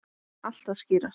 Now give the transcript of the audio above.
Allt að skýrast